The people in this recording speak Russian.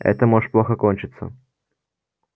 это может плохо кончиться